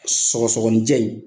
Sɔgɔsɔgɔnijɛ in